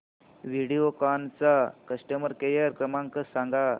व्हिडिओकॉन चा customer care क्रमांक सांगा